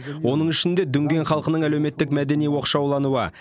оның ішінде дүнген халқының әлеуметтік мәдени оқшаулануы